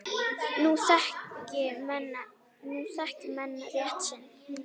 Nú þekki menn rétt sinn.